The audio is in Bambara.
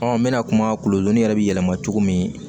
n bɛna kuma golo yɛrɛ bɛ yɛlɛma cogo min